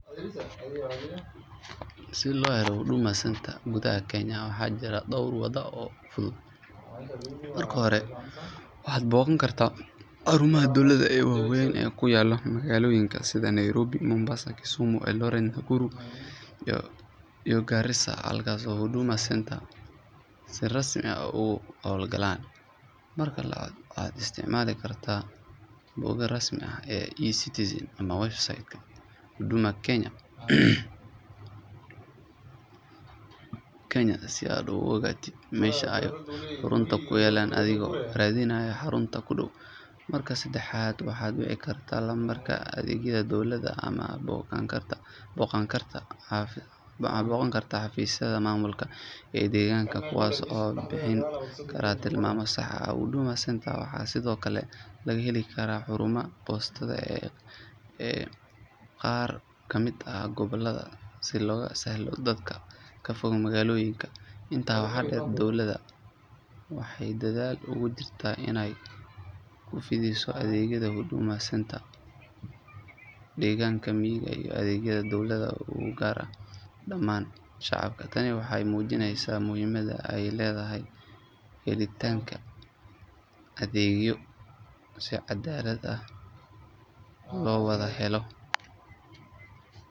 Si loo helo Huduma Centers gudaha Kenya waxaa jira dhowr waddo oo fudud. Marka hore waxaad booqan kartaa xarumaha dowladda ee waaweyn ee ku yaalla magaalooyinka sida Nairobi, Mombasa, Kisumu, Eldoret, Nakuru iyo Garissa halkaas oo Huduma Centers si rasmi ah uga howlgalaan. Marka labaad waxaad isticmaali kartaa bogga rasmiga ah ee eCitizen ama website-ka Huduma Kenya si aad u ogaatid meesha ay xarumuhu ku yaalliin adigoo raadinaya xarunta kuu dhow. Marka saddexaad waxaad wici kartaa lambarka adeegyada dowladda ama booqan kartaa xafiisyada maamulka ee degaankaaga kuwaas oo bixin kara tilmaamo sax ah. Huduma Centers waxaa sidoo kale laga heli karaa xarumaha boostada ee qaar ka mid ah gobollada si loogu sahlo dadka ka fog magaalooyinka. Intaa waxaa dheer, dowladda waxay dadaal ugu jirtaa inay ku fidiso adeegyada Huduma Centers degaanada miyiga si adeegyada dowladdu u gaaraan dhammaan shacabka. Tani waxay muujinaysaa muhiimadda ay leedahay helidda adeegyo si caddaalad ah loo wada helo.